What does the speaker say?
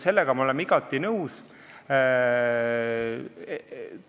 Sellega me oleme igati nõus.